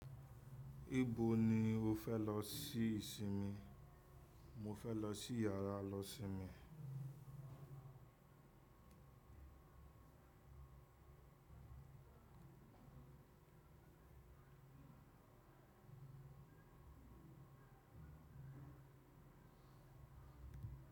Nibo ni o fẹ lọ sí ìsinmi? Mo fẹ lọ sí yàrá lọ sinmi.